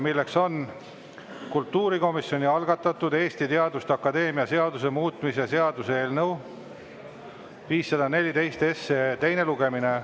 See on kultuurikomisjoni algatatud Eesti Teaduste Akadeemia seaduse muutmise seaduse eelnõu 514 teine lugemine.